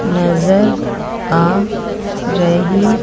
नजर आ रही--